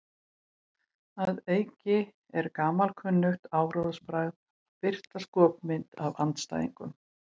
Að auki er gamalkunnugt áróðursbragð að birta skopmyndir af andstæðingnum.